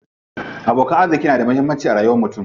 Abokan arziƙi na da muhammanci a rayuwar mutum.